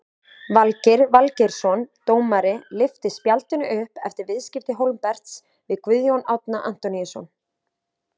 Valgeir Valgeirsson dómari lyfti spjaldinu upp eftir viðskipti Hólmberts við Guðjón Árna Antoníusson.